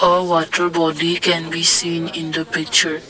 a water body can be seen in the picture.